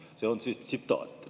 " See oli tsitaat.